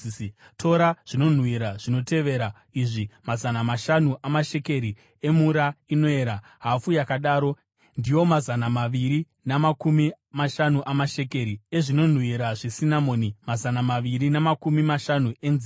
“Tora zvinonhuhwira zvinotevera izvi: mazana mashanu amashekeri emura inoerera, hafu yakadaro (ndiwo mazana maviri namakumi mashanu amashekeri) ezvinonhuhwira zvesinamoni, mazana maviri namakumi mashanu enzimbe,